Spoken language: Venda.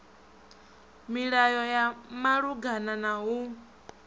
milayo ya malugana na u